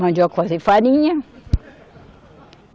Mandioca para fazer farinha.